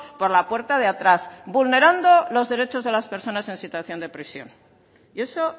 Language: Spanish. por la puerta de atrás vulnerando los derechos de las personas en situación de prisión y eso